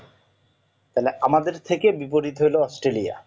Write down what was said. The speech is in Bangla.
তাহলে আমাদের থাকে বিপরীত হলো অস্ট্রলিয়া